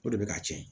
O de bɛ ka tiɲɛ